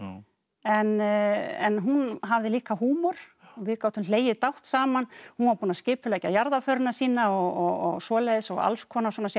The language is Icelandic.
en hún hafði líka húmor við gátum hlegið dátt saman hún var búin að skipuleggja jarðarförina sína og svoleiðis og alls konar svona